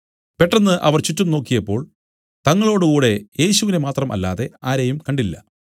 പെട്ടെന്ന് അവർ ചുറ്റും നോക്കിയപ്പോൾ തങ്ങളോടുകൂടെ യേശുവിനെ മാത്രം അല്ലാതെ ആരെയും കണ്ടില്ല